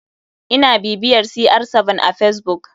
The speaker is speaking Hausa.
Ina bibiyar cr7 a facebook.